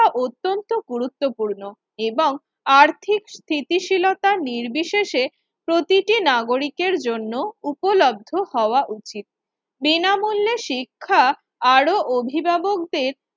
অত্যন্ত গুরুত্বপূর্ণ এবং আর্থিক স্থিতিশীলতা নির্বিশেষে প্রতিটি নাগরিকের জন্য উপলব্ধ হওয়া উচিত। বিনামূল্যে শিক্ষা আরও অভিভাবকদের